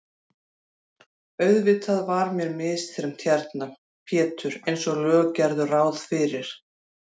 Auðvitað var mér misþyrmt hérna Pétur einsog lög gerðu ráð fyrir.